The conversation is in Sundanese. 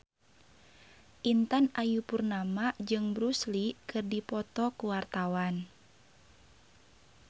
Intan Ayu Purnama jeung Bruce Lee keur dipoto ku wartawan